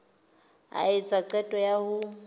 a etsa qeto ya ho